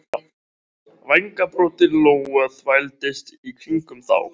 Vængbrotin lóa þvældist í kringum þá.